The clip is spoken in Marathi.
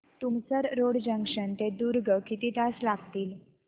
तुमसर रोड जंक्शन ते दुर्ग किती तास लागतील